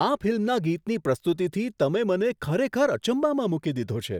આ ફિલ્મના ગીતની પ્રસ્તુતિથી તમે મને ખરેખર અચંબામાં મૂકી દીધો છે!